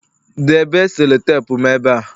debe selotepu m eba